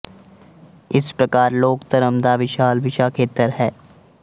ਇਸ ਪ੍ਰਕਾਰ ਲੋਕ ਧਰਮ ਦਾ ਵਿਸ਼ਾਲ ਵਿਸ਼ਾ ਖੇਤਰ ਹੈ